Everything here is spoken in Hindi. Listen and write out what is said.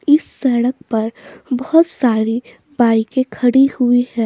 इस सड़क पर बहोत सारे बाईके खडी हुई है।